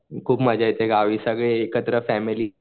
खूप मजा येते गावी सगळी एकत्र फॅमिली.